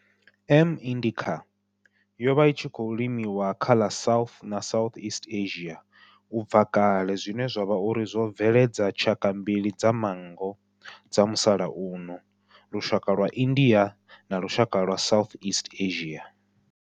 M. indicate yo vha i tshi khou limiwa kha ḽa South na Southeast Asia ubva kale zwine zwa vha uri zwo bveledza tshaka mbili dza manngo dza musalauno, lushaka lwa India na lushaka lwa Southeast Asia.